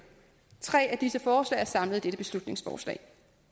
tre af disse forslag er samlet i dette beslutningsforslag